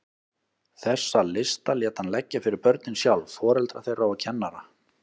Þessa lista lét hann leggja fyrir börnin sjálf, foreldra þeirra og kennara.